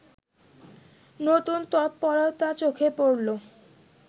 নতুন তৎপরতা চোখে পড়লো